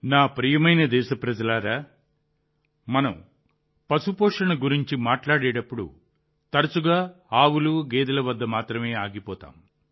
నా ప్రియమైన దేశప్రజలారా మనం పశుపోషణ గురించి మాట్లాడేటప్పుడు మనం తరచుగా ఆవులు గేదెల వద్ద మాత్రమే ఆగిపోతాం